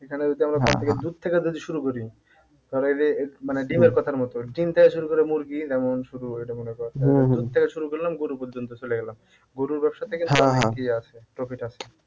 এখানে যদি দুধ থেকে যদি শুরু করি ধর এই যে মানে কথার মত ডিম থেকে শুরু করে মুরগি দুধ থেকে শুরু করলাম গরু পর্যন্ত চলে গেলাম গরুর ব্যবসা থেকে profit আছে